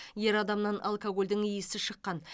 ер адамнан алкогольдің иісі шыққан